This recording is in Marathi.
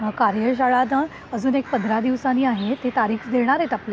कार्यशाळा ना अजून एक पंधरा दिवसांनी आहे तारीख देणार आहेत आपल्याला.